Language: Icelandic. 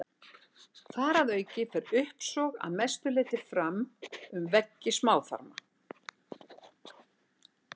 Þar að auki fer uppsog að mestu leyti fram um veggi smáþarma.